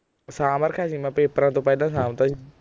ਸਾਂਭ ਰਖਿਆ ਸੀ ਮੈਂ ਪੇਪਰਾਂ ਤੋਂ ਪਹਿਲਾਂ ਸਾਂਭ ਤਾ ਸੀ